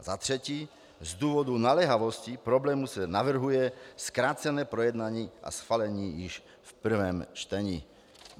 Za třetí: Z důvodu naléhavosti problému se navrhuje zkrácené projednání a schválení již v prvém čtení.